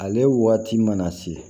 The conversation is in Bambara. Ale waati mana se